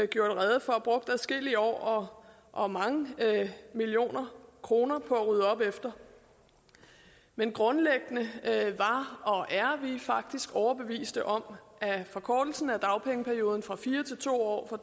gjorde rede for brugt adskillige år og mange millioner kroner på at rydde op efter men grundlæggende var og er vi faktisk overbeviste om at forkortelsen af dagpengeperioden fra fire til to år og